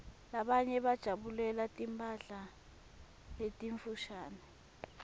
labanye bajabulela timphala letimfushane